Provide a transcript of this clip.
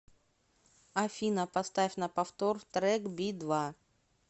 афина поставь на повтор трек би два